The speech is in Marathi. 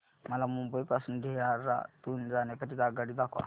मला मुंबई पासून देहारादून जाण्या करीता आगगाडी दाखवा